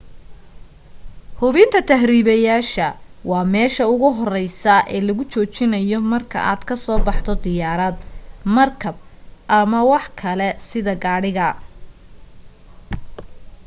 hubinta tahribayaasha waa meesha ugu horeysa lagugu joojinayo marka aad ka soo baxdo diyaarad markab ama wax kale sida gaadhiga